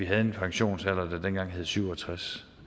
have en pensionsalder der hed syv og tres